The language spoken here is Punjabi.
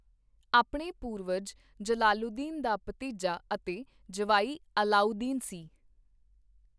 ਆਪਣੇ ਪੂਰਵਜ ਜਲਾਲੂਦੀਨ ਦਾ ਭਤੀਜਾ ਅਤੇ ਜਵਾਈ ਅਲਾਊਦੀਨ ਸੀ।